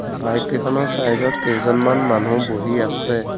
Bike কেইখনৰ side ত কেইজনমান মানুহ বহি আছে।